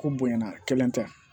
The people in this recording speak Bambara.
Ko bonya kelen tɛ